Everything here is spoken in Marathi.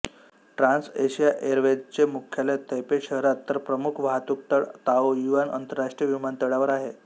ट्रान्सएशिया एअरवेजचे मुख्यालय तैपै शहरात तर प्रमुख वाहतूकतळ ताओयुआन आंतरराष्ट्रीय विमानतळावर आहे